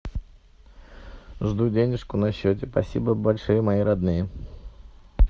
жду денежку на счете спасибо большое мои родные